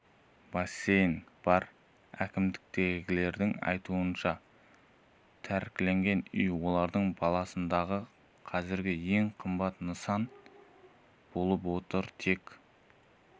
бассейн бар әкімдіктегілердің айтуынша тәркіленген үй олардың балансындағы қазіргі ең қымбат нысан болып отыр тек